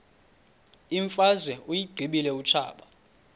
imfazwe uyiqibile utshaba